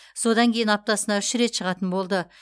содан кейін аптасына үш рет шығатын болды